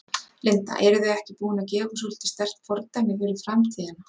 Linda: Eruð þið ekki búin að gefa svolítið sterkt fordæmi fyrir framtíðina?